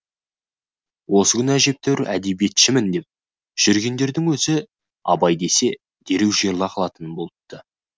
осы күні әжептәуір әдебиетшімін деп жүргендердің өзі абай десе дереу жиырыла қалатын болыпты